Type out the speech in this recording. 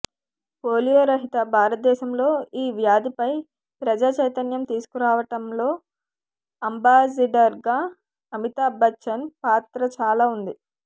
polio రహిత భారతదేశంలో ఈ వ్యాధిపై ప్రజాచైతన్యం తీసుకురావటంలో అంబాసిడర్గా అమితాబ్ బచ్చన్ పాత్ర చాలా ఉంది